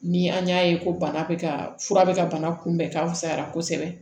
Ni an y'a ye ko bana bɛ ka fura bɛ ka bana kunbɛn ka fisaya kosɛbɛ